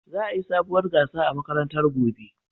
Za'a yi sabuwar gasa a makarantar gobe.